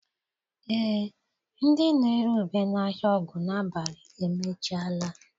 Ee, ndị na-ere ube n'ahịa Ogunabali emechiela.